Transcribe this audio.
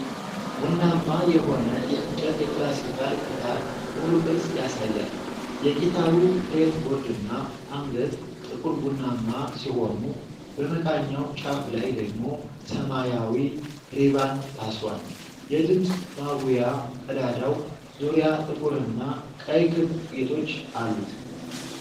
ቡናማ የሆነ የእንጨት የክላሲካል ጊታር ሙሉ ቅርጽ ያሳያል። የጊታሩ ፍሬትቦርድና አንገት ጥቁር ቡናማ ሲሆኑ፤ በመቃኛው ጫፍ ላይ ደግሞ ሰማያዊ ሪባን ታስሯል። የድምፅ ማጉያ ቀዳዳው ዙሪያ ጥቁርና ቀይ ክብ ጌጦች አሉት።